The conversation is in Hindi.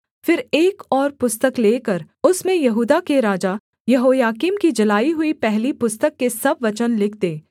फिर एक और पुस्तक लेकर उसमें यहूदा के राजा यहोयाकीम की जलाई हुई पहली पुस्तक के सब वचन लिख दे